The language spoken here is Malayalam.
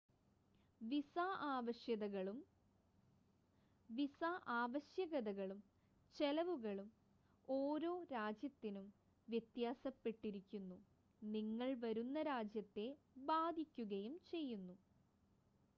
വിസ ആവശ്യകതകളും ചെലവുകളും ഓരോ രാജ്യത്തിനും വ്യത്യാസപ്പെട്ടിരിക്കുന്നു നിങ്ങൾ വരുന്ന രാജ്യത്തെ ബാധിക്കുകയും ചെയ്യും